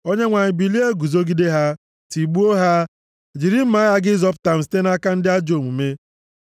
Onyenwe anyị, bilie guzogide ha, tigbuo ha. Jiri mma agha gị zọpụta m site nʼaka ndị ajọ omume.